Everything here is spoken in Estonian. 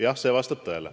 Jah, see vastab tõele.